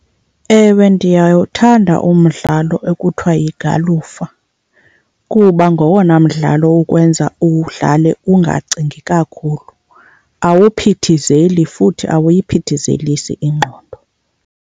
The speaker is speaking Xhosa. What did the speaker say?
Ewe, ndiyawuthanda umdlalo ekuthiwa yigalufa kuba ngowona mdlalo ukwenza uwudlale ungacingi kakhulu. Awuphithizeli futhi awuyiphithizelisi ingqondo.